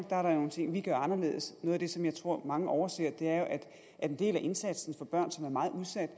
der nogle ting vi gør anderledes noget af det som jeg tror mange overser er jo at en del af indsatsen for børn som er meget udsatte